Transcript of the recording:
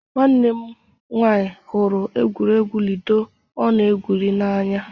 Nwanne m nwanyị hụrụ egwuregwu ludo ọ na-egwuri n'anya.